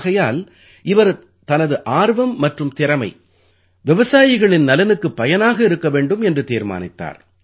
ஆகையால் இவர் தனது ஆர்வம் மற்றும் திறமை விவசாயிகளின் நலனுக்குப் பயனாக இருக்க வேண்டும் என்று தீர்மானித்தார்